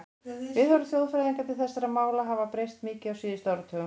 Viðhorf þjóðfræðinga til þessara mála hafa breyst mikið á síðustu áratugum.